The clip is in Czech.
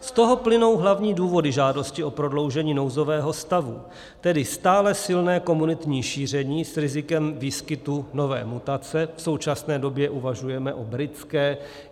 Z toho plynou hlavní důvody žádosti o prodloužení nouzového stavu, tedy stále silné komunitní šíření s rizikem výskytu nové mutace, v současné době uvažujeme o britské.